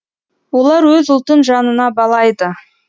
олар өз ұлтын жанына балайды